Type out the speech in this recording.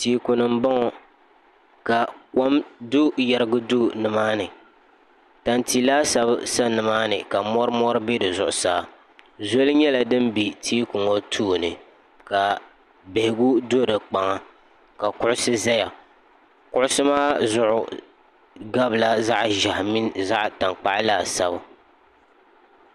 tɛɛguli n bɔŋɔ ka kom do yirigi do nimaani tantɛ laasabu sani maa ni ka mɔrimɔri bɛ zuɣ' saa zuli nyɛla din bɛ tɛɛgu ŋɔ tooni ka bɛhigu do kpaŋa ka kuɣisi zaya kuɣisi maa zuɣ' kabila zaɣ' ʒiɛhi mini zaɣ' tankpagu laasabu